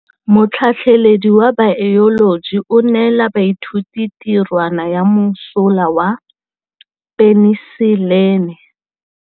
Motlhatlhaledi wa baeloji o neela baithuti tirwana ya mosola wa peniselene.